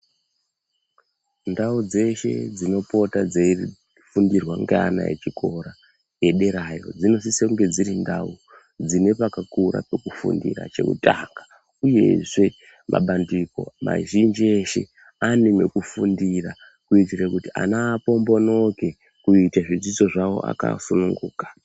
Ndau dzeshe dzinopota dzeifundirwa ngeana echikora ederayo. Dzinosise kunge dziri ndau dzine pakakura pekufundira chekutanga, uyezve mabandiko mazhinji eshe ane mwekufundira. Kuitire kuti ana apombonoke kuite zvidzidzo zvavo akasununguka.